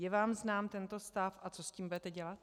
Je vám znám tento stav a co s tím budete dělat?